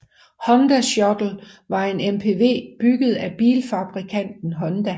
Honda Shuttle var en MPV bygget af bilfabrikanten Honda